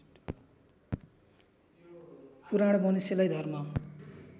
पुराण मनुष्यलाई धर्म